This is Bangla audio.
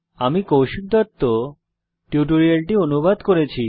আমি কৌশিক দত্ত এই টিউটোরিয়ালটি অনুবাদ করেছি